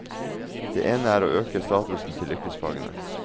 Det ene er å øke statusen til yrkesfagene.